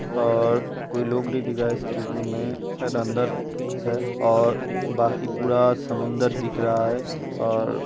और कोई लोग नई दिख रहा स्टीमर में सायद अंदर है और बाकि पूरा समुंदर दिख रहा है और --